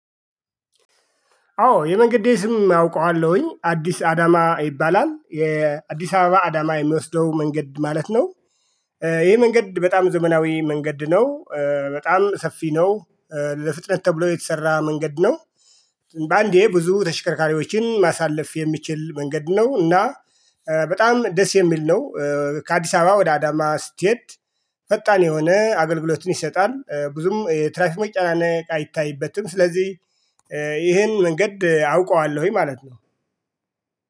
አዎ የመንግዴ ስም አውቀዋለሁኝ አዲስ አዳማ ይባላል የአዲስ አበባ አዳማ የሚወስደው መንገድ ማለት ነው ይሄ መንገድ በጣም ዘመናዊ መንገድ ነው በጣም ሰፊ ነው ለፍጥነት ተብሎ የተሰራ መንገድ ነው በአንዴ ብዙ ተሽከርካሪዎችን ማሳለፍ የሚችል መንገድ ነው እና በጣም ደስ የሚል ነው ከአዲስ አበባ ወደ አዳማ ስትሄድ የሆነ አገልግሎትን ይሰጣል ብዙም የትራፊክ መጨናነቅ አይታይበትም ስለዚህ ይሄን መንገድ አውቀዋለሁኝ ማለት ነው።